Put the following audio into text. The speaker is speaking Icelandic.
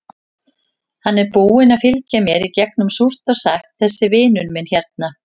Hann er búinn að fylgja mér í gegnum súrt og sætt, þessi vinur minn hérna.